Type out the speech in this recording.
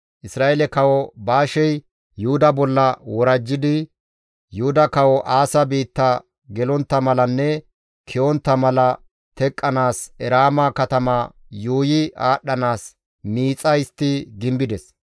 Isra7eele Kawo Baashey Yuhuda bolla worajjidi Yuhuda kawo Aasa biitta gelontta malanne ke7ontta mala teqqanaas Eraama katama yuuyi aadhdhanaas miixa histti gimbides.